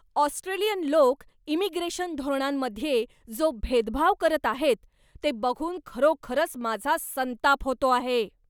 Australian लोक immigration धोरणांमध्ये जो भेदभाव करत आहेत ते बघून खरोखरच माझा संताप होतो आहे.